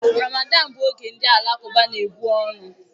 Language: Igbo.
Ramadan bụ oge ndị Alakụba na-ebu ọnụ